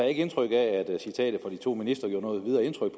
ikke indtryk af at citatet fra de to ministre gjorde noget videre indtryk